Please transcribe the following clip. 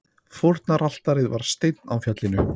Fórnaraltarið var steinn á fjallinu.